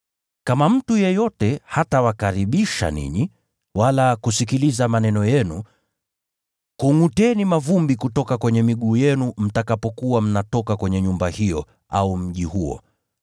Kama mtu yeyote hatawakaribisha ninyi, wala kusikiliza maneno yenu, kungʼuteni mavumbi kutoka kwenye miguu yenu mtakapokuwa mnatoka kwenye nyumba hiyo au mji huo.